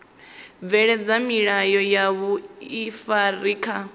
bveledza milayo ya vhuifari kha